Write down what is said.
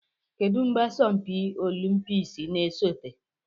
Kedu mgbe asọmpi olimpiks na-esote?